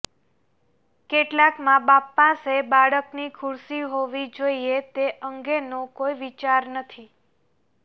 કેટલાક માબાપ પાસે બાળકની ખુરશી હોવી જોઈએ તે અંગેનો કોઈ વિચાર નથી